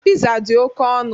Piza dị oke ọnụ.